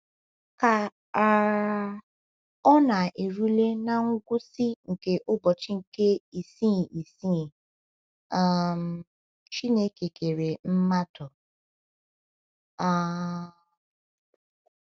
Ka um ọ na - erule ná ngwụsị nke ụbọchị nke isii isii, um Chineke kere mmadụ um.